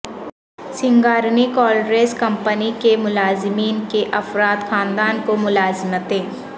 Singareni collieries company کے ملازمین کے افراد خاندان کو ملازمتیں